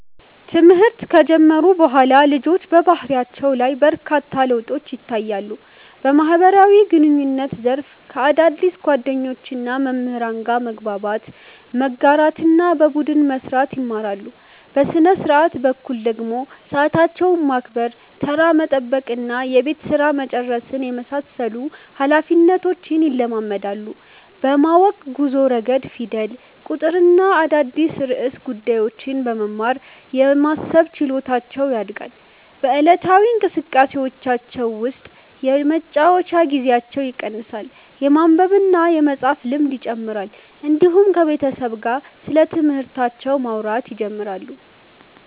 ትምህርት ከጀመሩ በኋላ ልጆች በባህሪያቸው ላይ በርካታ ለውጦች ይታያሉ። በማህበራዊ ግንኙነት ዘርፍ ከአዳዲስ ጓደኞችና መምህራን ጋር መግባባት፣ መጋራትና በቡድን መስራት ይማራሉ። በሥነ-ሥርዓት በኩል ደግሞ ሰዓታቸውን ማክበር፣ ተራ መጠበቅና የቤት ሥራ መጨረስን የመሳሰሉ ኃላፊነቶች ይለማመዳሉ። በማወቅ ጉዞ ረገድ ፊደል፣ ቁጥርና አዳዲስ ርዕሰ ጉዳዮችን በመማር የማሰብ ችሎታቸው ያድጋል። በዕለታዊ እንቅስቃሴዎቻቸው ውስጥ የመጫወቻ ጊዜያቸው ይቀንሳል፣ የማንበብና የመፃፍ ልምድ ይጨምራል፣ እንዲሁም ከቤተሰብ ጋር ስለትምህርታቸው ማውራት ይጀምራሉ።